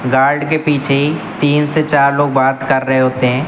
Guard के पीछे ही तीन से चार लोग बात कर रहे होते हैं।